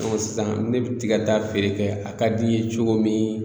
Ɔn sisan ne ti ka taa feere kɛ a ka di n ye cogo min